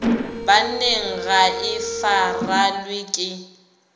banneng ga e farelwe ke